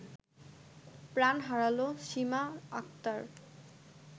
প্রাণ হারালো সীমা আক্তার